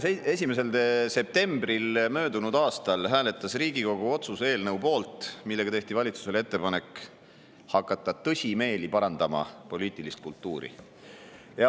21. septembril möödunud aastal hääletas Riigikogu otsuse eelnõu poolt, millega tehti valitsusele ettepanek hakata tõsimeeli parandama poliitilist kultuuri.